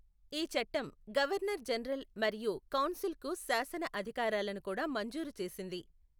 ఈ చట్టం governor general మరియు కౌన్సిల్కు శాసన అధికారాలను కూడా మంజూరు చేసింది.